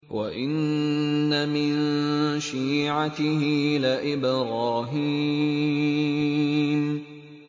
۞ وَإِنَّ مِن شِيعَتِهِ لَإِبْرَاهِيمَ